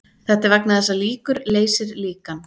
Þetta er vegna þess að líkur leysir líkan.